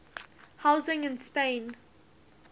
housing in spain